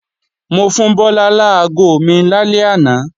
Mo fún Bọ́lá láago mi lálẹ́ àná